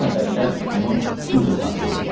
İki nəfər şəxs onu güclə saxlayırdılar.